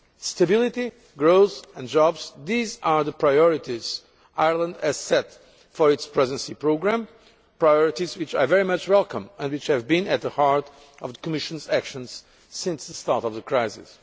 Stability, growth and jobs these are the priorities Ireland has set for its Presidency programme, priorities which I very much welcome and which have been at the heart of the Commission's actions since the start of the crisis.